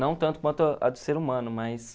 Não tanto quanto a do ser humano, mas...